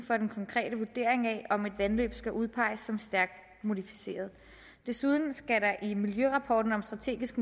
for den konkrete vurdering af om et vandløb skal udpeges som stærkt modificeret desuden skal der i miljørapporten om strategisk